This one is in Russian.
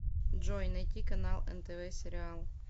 джой найти канал нтв сериал